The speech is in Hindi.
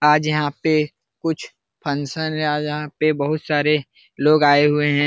आज यहाँ पे कुछ फंक्शन आज यहाँ पे बहुत सारे लोग आये हुए हैं ।